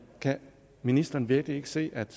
kan ministeren virkelig ikke se at